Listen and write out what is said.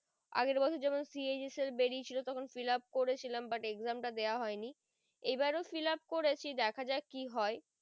আগের বছর যেমন CHS এর বেরিয়ে ছিল তখন fill up করে ছিলাম but exam টা দেওয়া হয় নি এবারো fill up করেছি দেখা যাক কি হয়